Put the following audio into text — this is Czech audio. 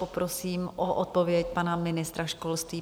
Poprosím o odpověď pana ministra školství.